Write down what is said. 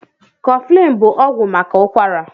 Kọflin bụ ọgwụ maka ụkwara.